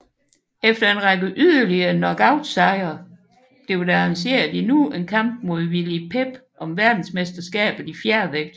Efter en række yderlige knockoutsejre blev der arrangeret endnu en kamp mod Willie Pep om verdensmesterskabet i fjervægt